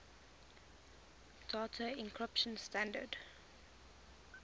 data encryption standard